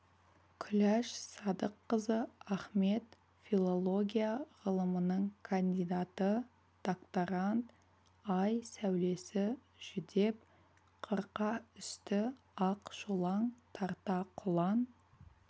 күләш садыққызы ахмет филология ғылымының кандидаты докторант ай сәулесі жүдеп қырқа үсті ақ шолаң тарта құлан